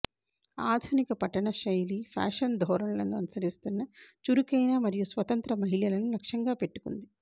ఆధునిక పట్టణ శైలి ఫ్యాషన్ ధోరణులను అనుసరిస్తున్న చురుకైన మరియు స్వతంత్ర మహిళలను లక్ష్యంగా పెట్టుకుంది